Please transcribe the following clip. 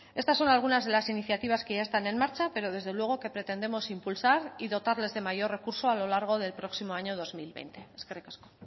estas son algunas de las iniciativas que ya están en marcha pero desde luego que pretendemos impulsar y dotarlas de mayor recurso a lo largo del próximo año dos mil veinte eskerrik asko